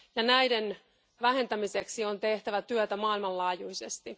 Näiden vähentämiseksi on tehtävä työtä maailmanlaajuisesti.